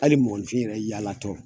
Hali mɔgɔnifin yɛrɛ yaalatɔ